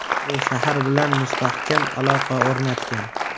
U shahar bilan mustahkam aloqa o‘rnatgan.